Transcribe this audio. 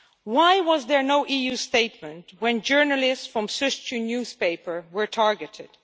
Why was there no EU statement when journalists from the Sozcu newspaper were targeted?